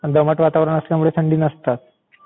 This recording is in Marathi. दमट वातावरण असल्यामुळे तिथे थंडी नसणार.